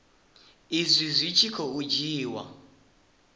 izwi zwi tshi khou dzhiiwa